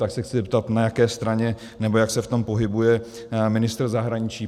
Tak se chci zeptat, na jaké straně, nebo jak se v tom pohybuje ministr zahraničí.